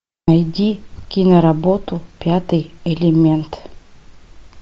найди кино работу пяты элемент